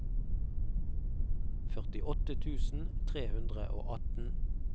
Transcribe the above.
førtiåtte tusen tre hundre og atten